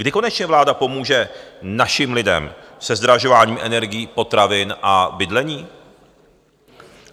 Kdy konečně vláda pomůže našim lidem se zdražováním energií, potravin a bydlení?